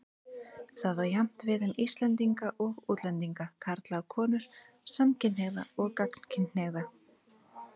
Það á jafnt við um Íslendinga og útlendinga, karla og konur, samkynhneigða og gagnkynhneigða.